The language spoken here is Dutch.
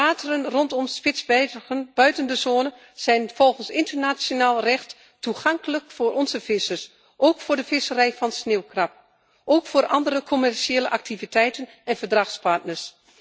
De wateren rondom Spitsbergen buiten de zone zijn volgens internationaal recht toegankelijk voor onze vissers, ook voor de visserij van sneeuwkrab en ook voor andere commerciële activiteiten en verdragspartners.